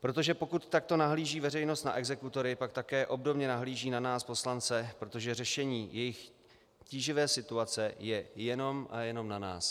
Protože pokud takto nahlíží veřejnost na exekutory, pak také obdobně nahlíží na nás poslance, protože řešení jejich tíživé situace je jenom a jenom na nás.